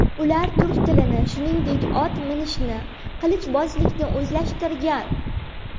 Ular turk tilini, shuningdek, ot minishni, qilichbozlikni o‘zlashtirgan.